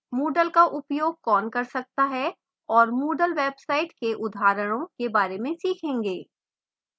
moodle का उपयोग कौन कर सकता है और moodle websites के उदाहरणों के बारे में सीखेंगे